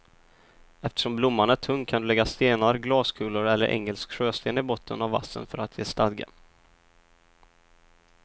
Eftersom blomman är tung kan du lägga stenar, glaskulor eller engelsk sjösten i botten av vasen för att ge stadga.